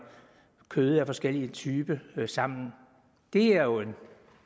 kød af forskellige typer sammen det er jo en